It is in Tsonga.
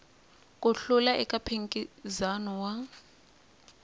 ku hlula eka mphikizano wa